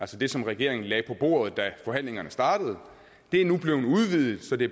det som regeringen lagde på bordet da forhandlingerne startede nu er blevet udvidet så det